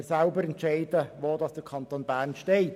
Wir können selber entscheiden, wo der Kanton Bern steht.